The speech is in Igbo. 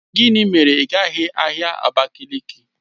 Gịnị mere ị gaghị ahịa Abakiliki?